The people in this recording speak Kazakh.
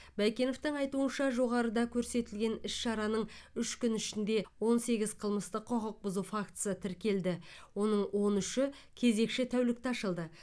байкеновтің айтуынша жоғарыда көрсетілген іс шараның үш күн ішінде он сегіз қылмыстық құқық бұзу фактісі тіркелді оның он үші кезекші тәулікте ашылды